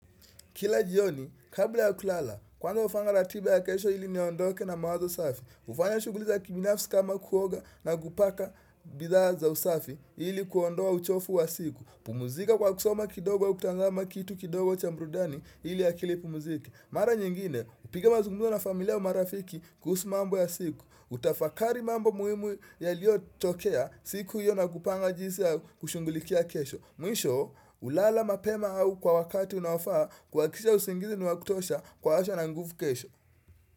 Kila jioni, kabla ya kulala, kwanza hufanga ratiba ya kesho ili niondoke na mawazo safi. Ufanya shughuli za kibinafsi kama kuoga na kupaka bidhaa za usafi ili kuondoa uchofu wa siku. Pumzika kwa kusoma kidogo au kutazama kitu kidogo cha brudani ili akili ipumzike. Mara nyingine, upige mazungumzo na familia au marafiki kuhusu mambo ya siku. Kutafakari mambo muimu yaliyotokea siku hiyo na kupanga jinsi ya kushungulikia kesho. Mwisho, hulala mapema au kwa wakati unaofaa kuhakikisha usingizi ni wa kutosha kwa asha na nguvu kesho.